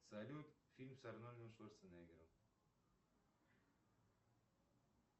салют фильм с арнольдом шварценеггером